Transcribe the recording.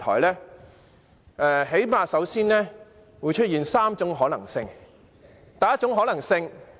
最低限度，首先會出現3種可能性。第一種可能性......